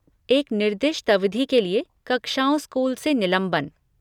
एक निर्दिष्ट अवधि के लिए कक्षाओं स्कूल से निलंबन।